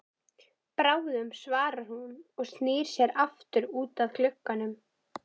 Bráðum svarar hún og snýr sér aftur út að glugganum.